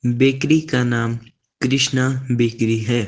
Bakery का नाम Krishna bakery है।